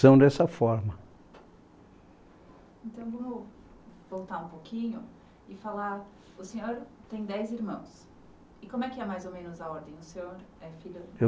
dessa forma. Então vamos voltar um pouquinho e falar, o senhor tem dez irmãos, e como é que era mais ou menos a ordem? O senhor é filho